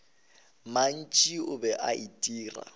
mantši o be a itira